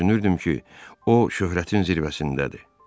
Düşünürdüm ki, o şöhrətin zirvəsindədir.